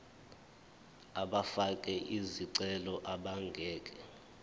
abafake izicelo abangeke